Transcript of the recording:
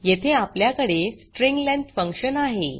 येथे आपल्याकडे string length function आहे